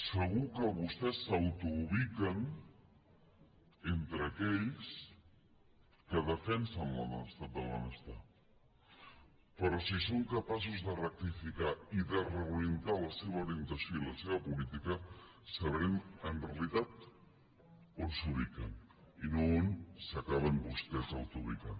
segur que vostès s’autoubiquen entre aquells que defensen l’estat del benestar però si són capaços de rectificar i de reorientar la seva orientació i la seva política sabrem en realitat on s’ubiquen i no on s’acaben vostès autoubicant